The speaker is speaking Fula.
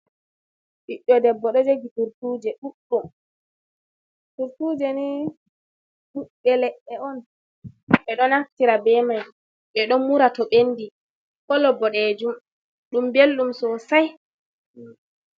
Ɓiɗɗo debbo ɗo jogi tursuje ɗuɗɗum. Tursuje ni ɓibɓe leɗɗe on, ɓe ɗo naftira be mai. Ɓe ɗo mura to ɓendi. Kolo boɗeejum, ɗum ɓelɗum sosai.